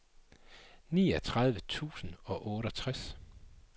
niogtredive tusind og otteogtres